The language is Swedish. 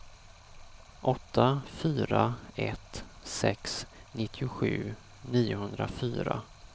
åtta fyra ett sex nittiosju niohundrafyra